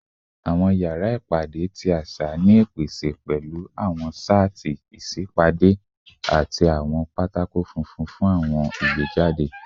Awọn yara ipade ti aṣa ni ipese pẹlu awọn shatti isipade ati awọn pátákó funfun fun awọn igbejade